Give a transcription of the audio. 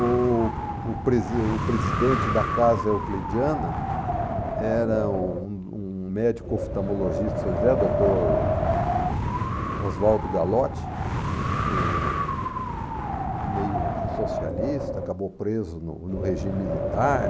O o pre o presidente da Casa Euclidiana era um um médico oftalmologista de São José, doutor Oswaldo Galotti, eh, meio socialista, acabou preso no no regime militar.